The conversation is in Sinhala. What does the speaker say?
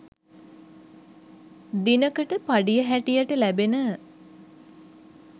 දිනකට පඩිය හැටියට ලැබෙන